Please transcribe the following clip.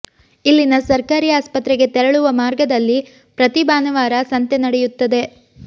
ಇಲ್ಲಿನ ಸರ್ಕಾರಿ ಆಸ್ಪತ್ರೆಗೆ ತೆರಳುವ ಮಾರ್ಗದಲ್ಲಿ ಪ್ರತಿ ಭಾನುವಾರ ಸಂತೆ ನಡೆಯುತ್ತದೆ